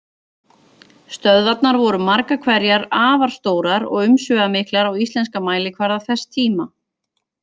Stöðvarnar voru margar hverjar afar stórar og umsvifamiklar á íslenskan mælikvarða þess tíma.